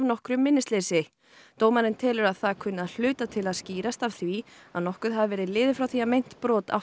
dómurinn telur að það kunni að hluta til að skýrast af því að nokkuð hafi verið liðið frá því að meint brot áttu sér stað